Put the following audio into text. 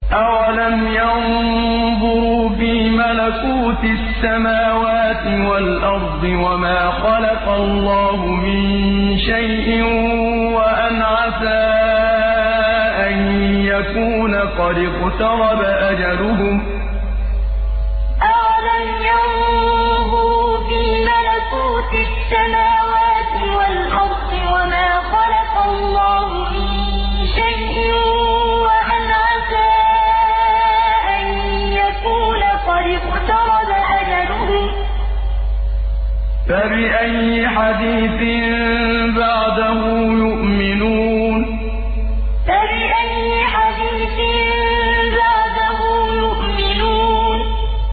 أَوَلَمْ يَنظُرُوا فِي مَلَكُوتِ السَّمَاوَاتِ وَالْأَرْضِ وَمَا خَلَقَ اللَّهُ مِن شَيْءٍ وَأَنْ عَسَىٰ أَن يَكُونَ قَدِ اقْتَرَبَ أَجَلُهُمْ ۖ فَبِأَيِّ حَدِيثٍ بَعْدَهُ يُؤْمِنُونَ أَوَلَمْ يَنظُرُوا فِي مَلَكُوتِ السَّمَاوَاتِ وَالْأَرْضِ وَمَا خَلَقَ اللَّهُ مِن شَيْءٍ وَأَنْ عَسَىٰ أَن يَكُونَ قَدِ اقْتَرَبَ أَجَلُهُمْ ۖ فَبِأَيِّ حَدِيثٍ بَعْدَهُ يُؤْمِنُونَ